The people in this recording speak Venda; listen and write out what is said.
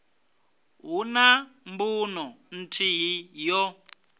hu na mbuno nthihi yo